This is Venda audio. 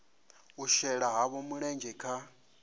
u shela havho mulenzhe kha